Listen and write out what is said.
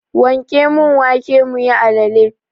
Wanke mun wake muyi alale!